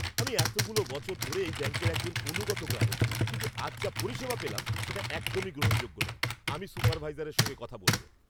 আমি এতগুলো বছর ধরে এই ব্যাঙ্কের একজন অনুগত গ্রাহক, কিন্তু আজ যা পরিষেবা পেলাম, সেটা একদমই গ্রহণযোগ্য নয়। আমি সুপারভাইজারের সঙ্গে কথা বলব।